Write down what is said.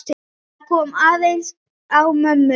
Það kom aðeins á mömmu.